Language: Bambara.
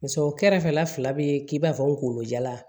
Paseke o kɛrɛfɛ la fila bɛ k'i b'a fɔ n kungolo jalan